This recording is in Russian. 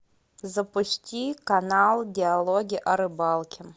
запусти канал диалоги о рыбалке